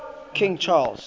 king charles